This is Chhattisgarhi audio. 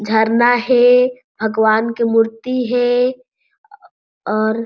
झरना हे भगवान के मूर्ति हे और --